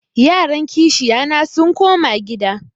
Yaran kishiyana sun koma gida.